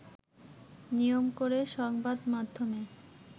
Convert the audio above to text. নিয়ম করে সংবাদমাধ্যমে